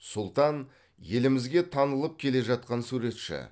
сұлтан елімізге танылып келе жатқан суретші